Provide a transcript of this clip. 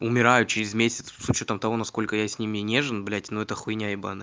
умирают через месяц с учётом того насколько я с ними нежен блять но это хуйня ебанная